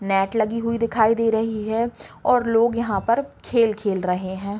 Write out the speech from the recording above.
Net लगी हुई दिखाई दे रही है और लोग यहाँ पर खेल खेल रहे हैं।